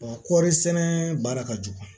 kɔɔri sɛnɛ baara ka jugu